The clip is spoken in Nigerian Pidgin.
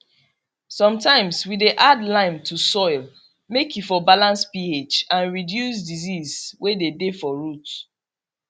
sometimes we dey add lime to soil make e for balance ph and reduce disease way dey dey for root